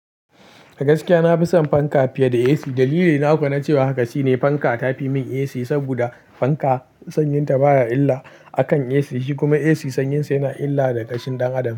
Gaskiya na fi son fanka fiye da AC. Dalili na kuwa na cewa haka shine fanka ta fi min AC saboda fanka sanyin ta baya illa a kan AC, shi kuma AC sanyin sa yana illa ga ƙashin ɗan adam.